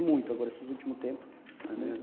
E muito agora, esses últimos tempos.